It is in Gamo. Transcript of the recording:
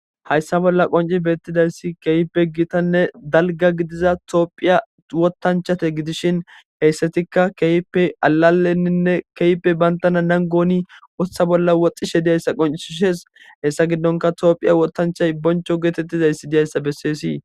Hayssa bolla qonci beettidayssi keeyppe gitanne dalga gidiza toophiya wotanchate gidishin heyssatikka keeyippe alalenninne keyppe bantana nangooni woththa bolla woxxishe diyayssa qoncihishes hessa giddonka toophiya wotanchay boncho geetettizayssi diyayssa bessees.